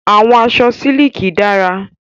Àwọn aṣọ sílíkì dára.